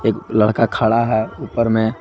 एक लड़का खड़ा है ऊपर में।